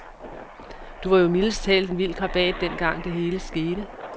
Du var jo mildest talt en vild krabat dengang, det hele skete.